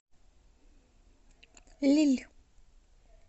лилль